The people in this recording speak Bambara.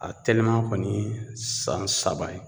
A tɛliman kɔni ye san saba ye